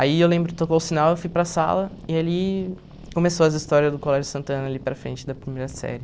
Aí eu lembro, tocou o sinal, eu fui para sala e ali começou as histórias do Colégio Santana ali para frente da primeira série.